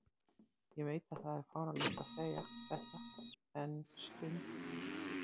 Ég veit að það er fáránlegt að segja þetta en stund